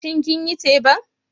Shin kinyi teban?